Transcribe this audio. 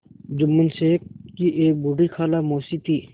जुम्मन शेख की एक बूढ़ी खाला मौसी थी